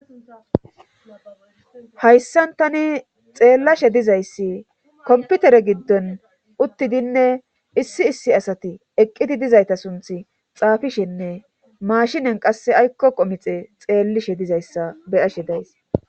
Hayssan tani xeellashe dizayssi komputere giddon uttidinne issi issi asati eqqiti dizayta sunth xaafishenne maashinen qass aykko qomixe xeellishe dizayssa beyashe days.